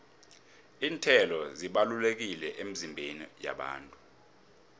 iinthelo zibalulekile emizimbeni yabantu